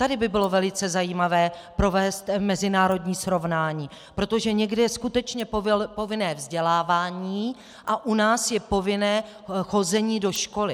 Tady by bylo velice zajímavé provést mezinárodní srovnání, protože někde je skutečně povinné vzdělávání a u nás je povinné chození do školy.